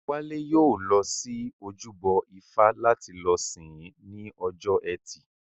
Wálé yóò lọ sí ojúbọ ifá láti lọ sìn ín ní ọjọ́ ẹtì